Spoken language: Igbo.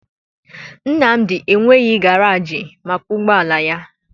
Nnamdi enweghị garaajị maka ụgbọala ya